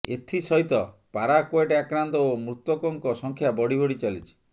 ଏଥି ସହିତ ପାରାକ୍ବେଟ୍ ଆକ୍ରାନ୍ତ ଓ ମୃତକଙ୍କ ସଂଖ୍ୟା ବଢ଼ିବଢ଼ି ଚାଲିଛି